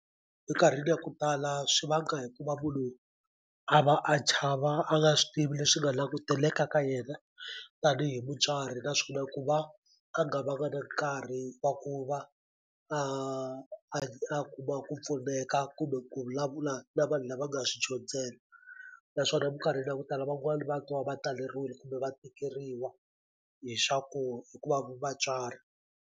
Minkarhini ya ku tala swi vanga hi ku va munhu a va a chava a nga swi tivi leswi nga languteleka ka yena tanihi mutswari naswona ku va a nga vanga na nkarhi wa ku va a a kuma ku pfuneka kumbe ku vulavula na vanhu lava nga swi dyondzela naswona minkarhini ya ku tala van'wani va twa va taleriwile kumbe va tikeriwa hi swaku hikuva vatswari.